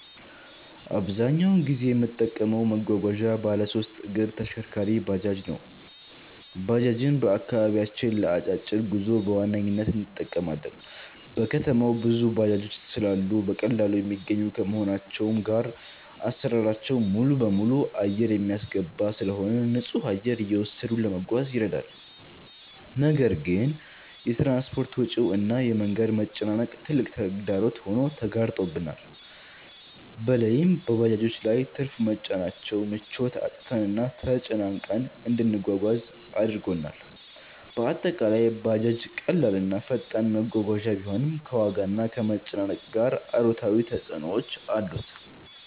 አብዛኛውን ጊዜ የምጠቀመው መጓጓዣ ባለሶስት እግር ተሽከርካሪ(ባጃጅ) ነው። ባጃጅን በአከባቢያችን ለ አጫጭር ጉዞ በዋነኝነት እንጠቀማለን። በከተማው ብዙ ባጃጆች ስላሉ በቀላሉ የሚገኙ ከመሆናቸውም ጋር አሰራራቸው ሙሉበሙሉ አየር የሚያስገባ ስለሆነ ንፁህ አየር እየወሰዱ ለመጓዝ ይረዳል። ነገር ግን የ ትራንስፖርት ወጪው እና የ መንገድ መጨናነቅ ትልቅ ተግዳሮት ሆኖ ተጋርጦብናል። በለይም በባጃጆች ላይ ትርፍ መጫናቸው ምቾት አጥተንና ተጨናንቀን እንድንጓጓዝ አድርጎናል። በአጠቃላይ ባጃጅ ቀላል እና ፈጣን መጓጓዣ ቢሆንም፣ ከዋጋና ከመጨናነቅ ጋር አሉታዊ ተፅዕኖዎች አሉት።